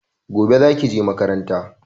Gobe zaki je makaranta